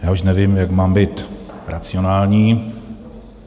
Já už nevím, jak mám být racionální.